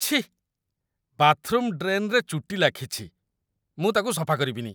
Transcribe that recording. ଛିଃ ! ବାଥ୍‌ରୁମ୍‌ ଡ୍ରେନ୍‌ରେ ଚୁଟି ଲାଖିଛି । ମୁଁ ତାକୁ ସଫା କରିବିନି ।